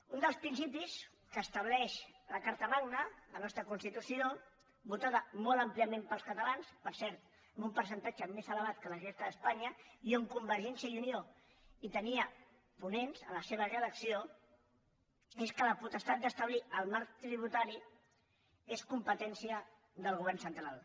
un dels principis que estableix la carta magna la nostra constitució votada molt àmpliament pels catalans per cert amb un percentatge més elevat que a la resta d’espanya i on convergència i unió tenia ponents en la seva redacció és que la potestat d’establir el marc tributari és competència del govern central